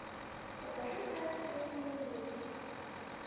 покажи таинственные люди